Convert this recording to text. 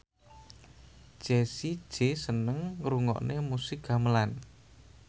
Jessie J seneng ngrungokne musik gamelan